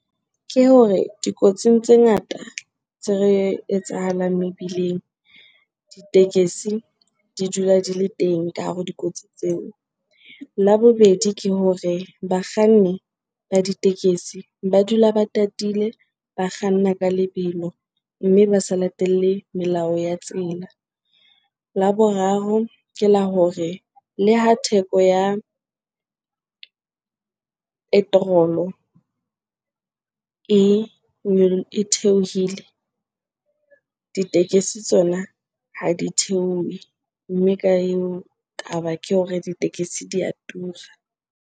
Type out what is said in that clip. Ke hore dikotsing tse ngata tse re etsahalang mebileng, ditekesi di dula di le teng ka hare ho dikotsi tseo. La bobedi, ke hore bakganni nka ba ditekesi ba dula ba tatile, ba kganna ka lebelo mme ba sa latelle melao ya tsela. La boraro, ke la hore le ha theko ya petrol-o e e theohile, ditekesi tsona ha di theohe mme ka eo taba ke hore ditekesi di a tura.